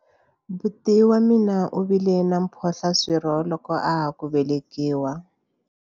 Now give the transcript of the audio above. Buti wa mina u vile na mphohlaswirho loko a ha ku velekiwa.